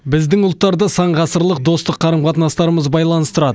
біздің ұлттарды сан ғасырлық достық қарым қатынастарымыз байланыстырады